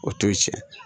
O t'o ye tiɲɛ